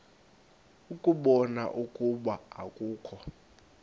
ukubona ukuba akukho